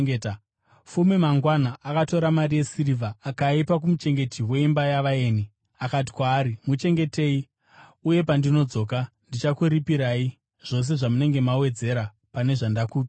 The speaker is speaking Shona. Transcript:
Fume mangwana akatora mari yesirivha akaipa kumuchengeti weimba yavaeni. Akati kwaari, ‘Muchengetei uye pandinodzoka, ndichakuripirai zvose zvamunenge mawedzera pane zvandakupai.’